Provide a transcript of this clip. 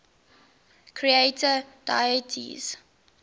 creator deities